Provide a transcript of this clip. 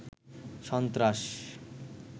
সন্ত্রাস